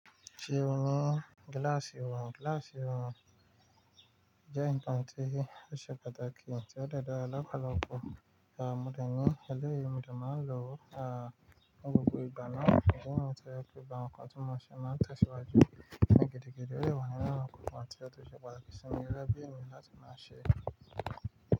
Ṣé o ní gíláàsì ìwọ̀n? Gíláàsì ìwọ̀n jẹ́ nǹkan tí ó ṣe pàtàkì tí ó dẹ dára lọ́pọ̀lọpọ̀. Eléyìí mo dà máa ń lò ní gbogbo ìgbà náà idi niyii ti o jẹ pe gbogbo awon ǹkan tí mo ṣe máa tẹ̀síwájú ní gidi gidí ó de wà nínú nkankan tí ó ti ṣe pàtàkì sí mi gẹgẹ bí ènìyàn láti máa ṣe.